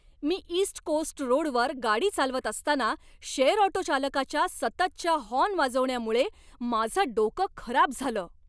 मी east coast रोडवर गाडी चालवत असताना शेअर ऑटो चालकाच्या सततच्या हॉर्न वाजवण्यामुळे माझं डोकं खराब झालं.